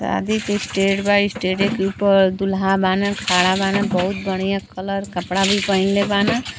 शादी के इस्टेड बा। इस्टेडे के ऊपर दूल्हा बान खड़ा बान बहुत बढ़िया कलर कपड़ा भी पहिनले बाना।